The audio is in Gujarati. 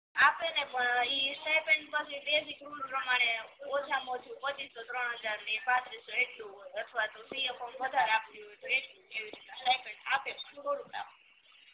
આપે ને પણ ઇ સ્ટાઇપેન્ડ પછી બેસિક રૂટ પ્રમાણે ઓછામાં ઓછું પચીસો ત્રણહાજર થી પાંત્રીસો એટલું હોય અથવા તો વધારે આપતી હોય તો એટલું હોય એવી રીતના આપે પણ થોડુંક આપે